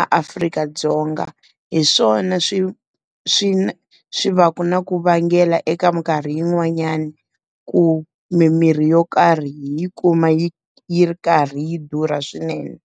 a Afrika-Dzonga, hi swona swi swi swi va na ku vangela eka minkarhi yin'wanyani, ku mimirhi yo karhi hi kuma yi yi ri karhi yi durha swinene.